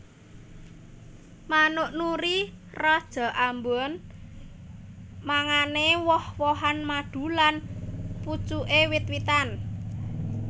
Manuk Nuri raja ambon mangané woh wohan madu lan pucuké wit witan